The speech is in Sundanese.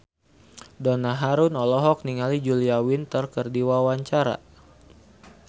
Donna Harun olohok ningali Julia Winter keur diwawancara